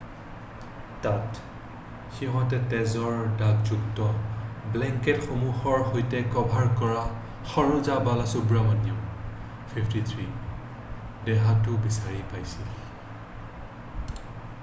তাত সিঁহতে তেজৰ দাগযুক্ত ব্লেংকেটসমূহৰ সৈতে ক'ভাৰ কৰা ছৰোজা বালাসুব্ৰমণিয়াম 53 ৰ দেহটো বিচাৰি পাইছীল৷